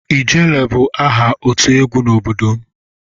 "Ijere"bụ aha otu egwu n'obodo m.